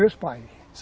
Meus pais.